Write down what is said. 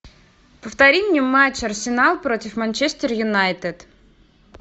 повтори мне матч арсенал против манчестер юнайтед